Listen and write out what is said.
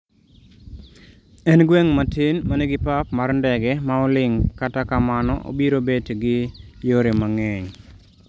En gweng' matin manigi pap mar ndege maoling' kata kamano obiro bet gi yore mang'eny